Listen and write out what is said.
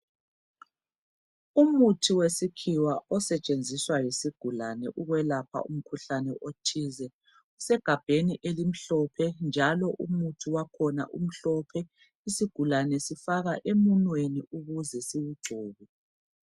Umuthi wesikhiwa osetshenziswa yisigulane ukwelapha umkhuhlane othize usegabheni elimhlophe njalo umuthi wakhona umhlophe isigulane sifaka emunweni ukuze siwugcobe.